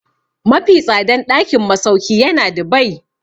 Mafi tsadan ɗakin masauki yana Dubai.